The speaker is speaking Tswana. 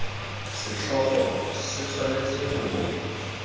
setlhogo se tshwanetse go bo